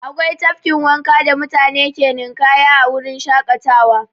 Akwai tafkin wanka da mutane ke ninƙaya a wurin shaƙatawa.